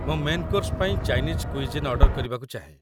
ମୁଁ main course ପାଇଁ Chinese cuisine order କରିବାକୁ ଚାହେଁ